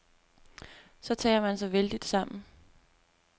Så tager han sig vældigt sammen.